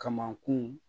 Kamakun